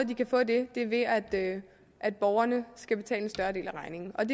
de kan få det er ved at at borgerne skal betale en større del af regningen det